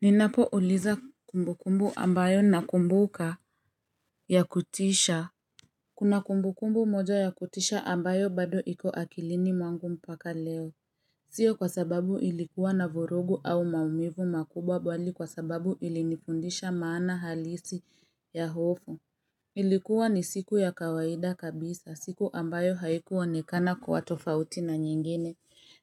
Ninapo uliza kumbukumbu ambayo nakumbuka ya kutisha Kuna kumbukumbu moja ya kutisha ambayo bado iko akilini mwangu mpaka leo. Sio kwa sababu ilikuwa na vurugu au maumivu makubwa bali kwa sababu ilinifundisha maana halisi ya hofu. Ilikuwa ni siku ya kawaida kabisa siku ambayo haiku onekana kuwa tofauti na nyingine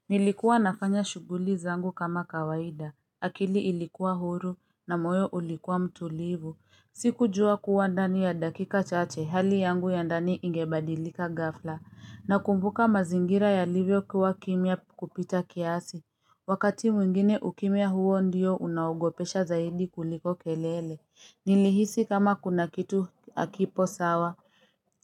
Nilikuwa nafanya shuguli zangu kama kawaida. Akili ilikuwa huru na moyo ulikuwa mtulivu. Siku jua kuwa ndani ya dakika chache hali yangu ya ndani ingebadilika gafla. Nakumbuka mazingira yalivyo kuwa kimya kupita kiasi. Wakati mwingine ukimya huo ndio unaogopesha zaidi kuliko kelele. Nilihisi kama kuna kitu akipo sawa.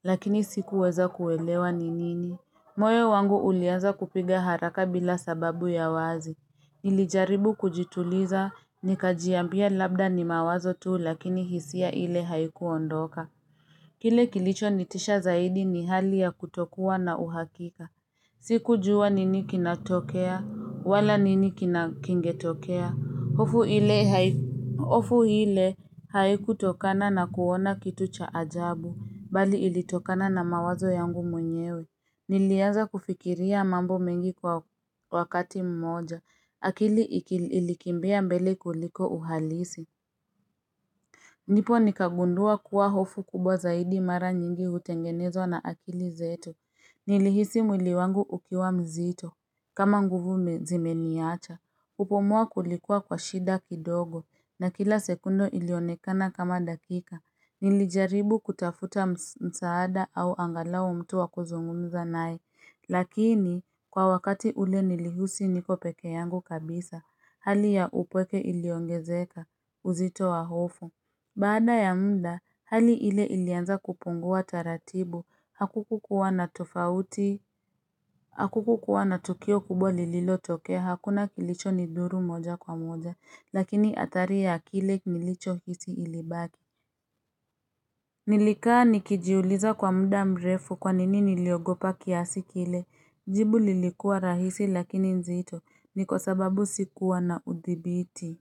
Lakini sikuweza kuelewa ni nini. Moyo wangu uliaza kupiga haraka bila sababu ya wazi. Nilijaribu kujituliza, nikajiambia labda ni mawazo tu lakini hisia ile haikuondoka. Kile kilicho nitisha zaidi ni hali ya kutokuwa na uhakika. Siku jua nini kinatokea, wala nini kina kingetokea. Hofu ile haiku tokana na kuona kitu cha ajabu, bali ilitokana na mawazo yangu mwenyewe. Niliaza kufikiria mambo mengi kwa wakati mmoja. Akili ilikimbia mbele kuliko uhalisi. Nipo nikagundua kuwa hofu kubwa zaidi mara nyingi utengenezwa na akili zetu. Nilihisi mwili wangu ukiwa mzito kama nguvu zimeniacha. Kupumua kulikuwa kwa shida kidogo na kila sekunde ilionekana kama dakika. Nilijaribu kutafuta msaada au angalau mtu wa kuzungumza naye. Lakini, kwa wakati ule nilihusi niko peke yangu kabisa, hali ya upweke iliongezeka, uzito wa hofu Baada ya mda, hali ile ilianza kupungua taratibu, hakuku kuwa na tofauti Hakuku kuwa na tukio kubwa lililo tokea, hakuna kilicho nidhuru moja kwa moja, lakini athari ya kile nilicho hisi ilibaki Nilikaa nikijiuliza kwa mda mrefu kwa nini niliogopa kiasi kile Jibu lilikuwa rahisi lakini nzito ni kwa sababu sikuwa na udhibiti.